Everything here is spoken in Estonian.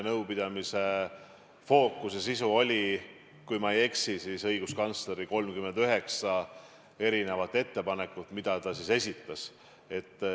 Nõupidamise fookus oli, kui ma ei eksi, õiguskantsleri 39 ettepanekul, mis ta seal esitas.